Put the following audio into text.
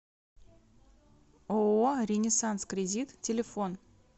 ооо ренессанс кредит телефон